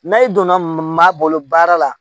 N'a i donna maa bolo baara la